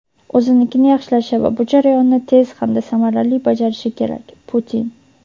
o‘zinikini yaxshilashi va bu jarayonni tez hamda samarali bajarishi kerak, – Putin.